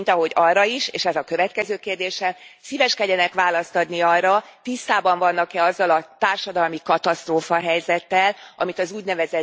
Mint ahogy arra is, és ez a következő kérdésem, szíveskedjenek választ adni arra, tisztában vannak e azzal a társadalmi katasztrófahelyzettel, amit az ún.